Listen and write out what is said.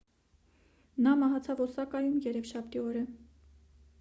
նա մահացավ օսակայում երեքշաբթի օրը